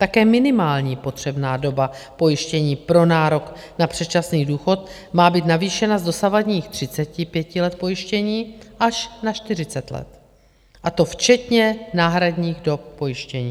Také minimální potřebná doba pojištění pro nárok na předčasný důchod má být navýšena z dosavadních 35 let pojištění až na 40 let, a to včetně náhradních dob pojištění.